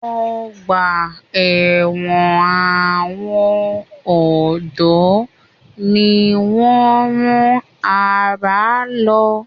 Ọgbà ẹ̀wọ̀n àwọn ọ̀dọ́ ni wọ́n rán àrà lọ.